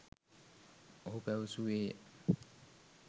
ඔහු පැවසුවේය